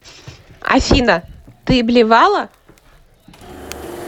афина ты блевала